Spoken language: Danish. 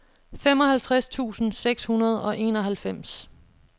femoghalvtreds tusind seks hundrede og enoghalvfems